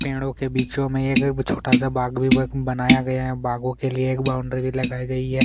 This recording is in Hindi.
पेड़ो के बीचो में एक छोटा सा बाग भी बनाया गया है बागो के लिए एक बाउंड्री भी बनाई गई है।